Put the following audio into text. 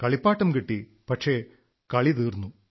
കളിപ്പാട്ടം കിട്ടി പക്ഷേ കളി തീർന്നു